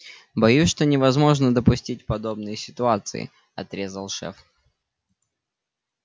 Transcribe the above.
боюсь что невозможно допустить подобные ситуации отрезал шеф